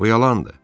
Bu yalandır.